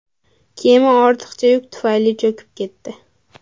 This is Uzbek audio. Kema ortiqcha yuk tufayli cho‘kib ketdi.